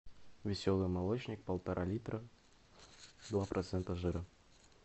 веселый молочник полтора литра два процента жира